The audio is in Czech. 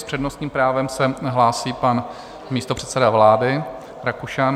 S přednostním právem se hlásí pan místopředseda vlády Rakušan.